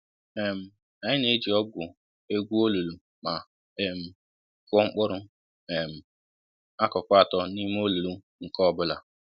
um Anyị na-eji ọgụ egwu olulu ma um kụọ mkpụrụ um akụkụ atọ n'ime olulu nke ọbụla